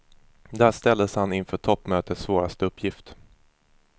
Där ställdes han inför toppmötets svåraste uppgift.